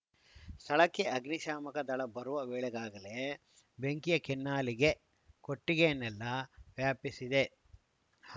ಸ್ಥಳಕ್ಕೆ ಅಗ್ನಿಶಾಮಕ ದಳ ಬರುವ ವೇಳೆಗಾಗಲೇ ಬೆಂಕಿಯ ಕೆನ್ನಾಲಿಗೆ ಕೊಟ್ಟಿಗೆಯನ್ನೆಲ್ಲ ವ್ಯಾಪಿಸಿದೆ